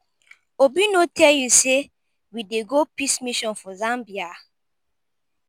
obi no tell you say we dey go peace mission for zambia?